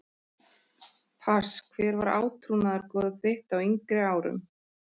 pass Hver var átrúnaðargoð þitt á yngri árum?